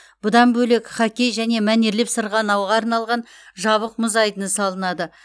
бұдан бөлек хоккей және мәнерлеп сырғанауға арналған жабық мұз айдыны салынады